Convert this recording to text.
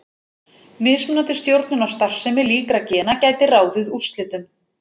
Mismunandi stjórnun á starfsemi líkra gena gæti ráðið úrslitum.